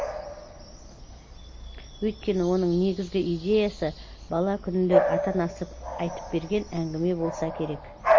өйткені оның негізгі идеясы бала күнінде ата анасы айтып берген әңгіме болса керек